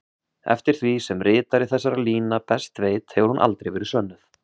Eftir því sem ritari þessara lína best veit hefur hún aldrei verið sönnuð.